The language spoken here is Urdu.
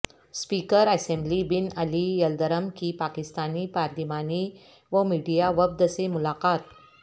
speaker assembly Binali Yildirim کی پاکستانی پارلیمانی و میڈیا وفد سے ملاقات